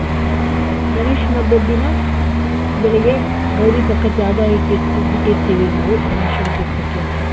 ಗಣೇಶನ್ ಹಬ್ಬದ್ ದಿನ ಬೆಳಿಗ್ಗೆ ಗೌರಿ ಪಕ್ಕ ಜಾಗ ಇಟ್ಟಿರ್ತೀವಿ ಬಿಟ್ಟಿರ್ತೀವಿ ನಾವು, ಗಣೇಶನ್ ಕುರ್ಸಕ್ಕೆ ಅಂತ.